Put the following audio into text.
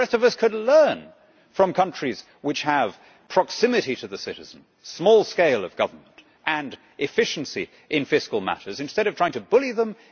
The rest of us could learn from countries which have proximity to the citizen, small scale of government and efficiency in fiscal matters instead of trying to bully them.